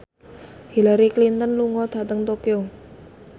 Hillary Clinton lunga dhateng Tokyo